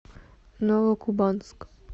новокубанск